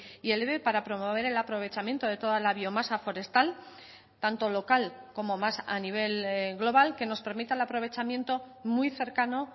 y el eve para promover el aprovechamiento de toda la biomasa forestal tanto local como más a nivel global que nos permita el aprovechamiento muy cercano